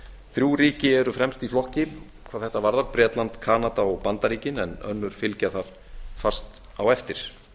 þrjú ríki eru fremst í flokki hvað þetta varðar bretland kanada og bandaríkin en önnur fylgja þar fast á eftir